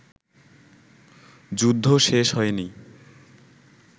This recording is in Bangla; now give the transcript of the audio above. যুদ্ধ শেষ হয়নি